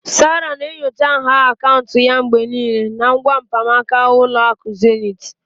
Sarah na-enyocha nha akaụntụ ya mgbe niile na ngwa mkpanaka Ụlọ akụ Zenith